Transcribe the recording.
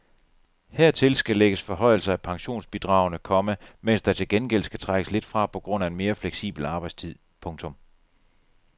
Hertil skal lægges forhøjelser af pensionsbidragene, komma mens der til gengæld skal trækkes lidt fra på grund af en mere fleksibel arbejdstid. punktum